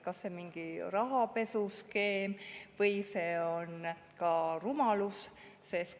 Kas see on mingi rahapesuskeem või on see ka rumalus?